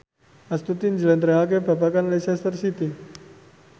Astuti njlentrehake babagan Leicester City